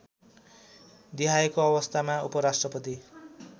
देहायको अवस्थामा उपराष्ट्रपति